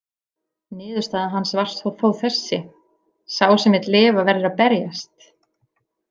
Niðurstaða hans var þó þessi: Sá sem vill lifa verður að berjast.